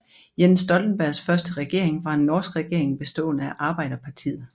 Jens Stoltenbergs første regering var en norsk regering bestående af Arbeiderpartiet